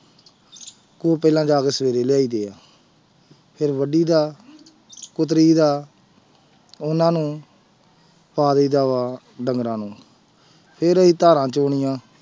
ਉਹ ਪਹਿਲਾਂ ਜਾ ਕੇ ਸਵੇਰੇ ਲਿਆਈਦੇ ਹੈ ਫਿਰ ਵੱਡੀਦਾ ਕੁਤਰੀ ਦਾ ਉਹਨਾਂ ਨੂੰ ਪਾ ਦੇਈਦਾ ਵਾ ਡੰਗਰਾਂ ਨੂੰ ਫਿਰ ਅਸੀਂ ਧਾਰਾਂ ਚੋਣੀਆਂ,